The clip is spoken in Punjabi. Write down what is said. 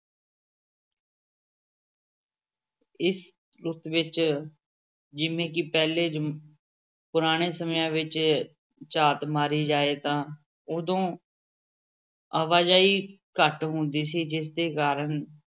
ਇਸ ਰੁੱਤ ਵਿੱਚ ਜਿਵੇਂ ਕਿ ਪਹਿਲੇ ਜ ਪੁਰਾਣੇ ਸਮਿਆਂ ਵਿੱਚ ਝਾਤ ਮਾਰੀ ਜਾਏ ਤਾਂ ਉਦੋਂ ਆਵਾਜ਼ਾਈ ਘੱਟ ਹੁੰਦੀ ਸੀ ਜਿਸਦੇ ਕਾਰਨ